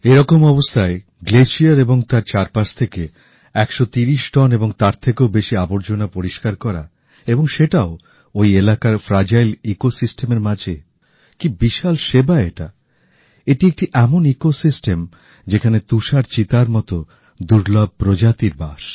এরকম অবস্থায় হিমবাহ এবং চারপাশ থেকে ১৩০ টন এবং তার থেকেও বেশী আবর্জনা পরিষ্কার করা ওই এলাকার ভঙ্গুর পরিবেশ ব্যবস্থার মাঝে কি বিশাল সেবা এটা এটি একটি এমন পরিবেশ ব্যবস্থা যেখানে তুষার চিতার মত দুর্লভ প্রজাতির বাস